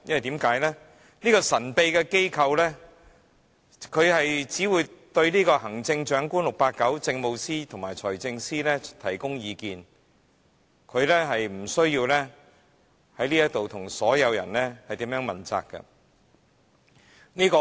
這個神秘機構只會對 "689" 行政長官、政務司司長及財政司司長提供意見，無須在立法會向所有市民問責。